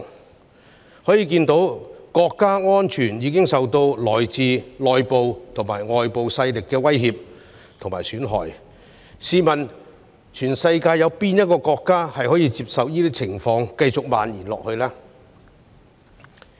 由此可見，國家安全已受到來自內部及外部勢力的威脅和損害，試問世界上有哪一個國家可容許這些情況繼續蔓延下去呢？